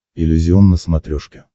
иллюзион на смотрешке